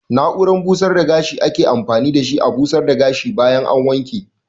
Na'urar busar da gashi ake amfani da shi a busar da gashi bayan an wanke.